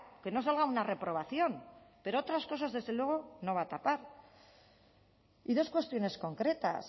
que no salga una reprobación pero otras cosas desde luego no va a tapar y dos cuestiones concretas